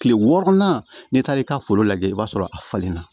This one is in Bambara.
Kile wɔɔrɔnan n'i taar'i ka foro lajɛ i b'a sɔrɔ a falenna